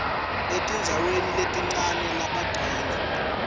etindzaweni letincane labagcina